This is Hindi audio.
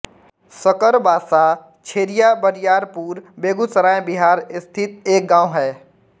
सकरबासा छेरियाबरियारपुर बेगूसराय बिहार स्थित एक गाँव है